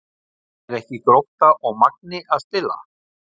Eru ekki Grótta og Magni að spila?